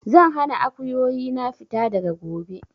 Zan hana Akuyoyi na fita daga gobe!